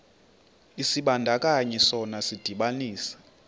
isibandakanyi sona sidibanisa